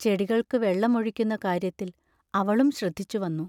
ചെടികൾക്കു വെള്ളം ഒഴിക്കുന്ന കാര്യത്തിൽ അവളും ശ്രദ്ധിച്ചു വന്നു.